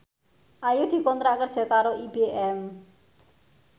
Ayu dikontrak kerja karo IBM